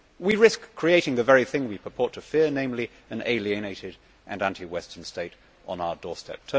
We risk creating the very thing we purport to fear namely, an alienated and anti Western state on our doorstep.